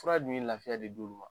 Tura dun ye lafiya de d'u ma.